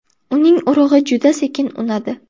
Uning urug‘i juda sekin unadi.